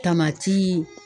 Tamati